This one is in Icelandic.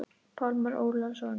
Pálmar Ólason.